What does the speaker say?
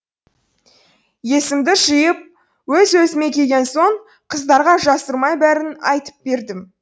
есімді жиып өз өзіме келген соң қыздарға жасырмай бәрін айтып бердім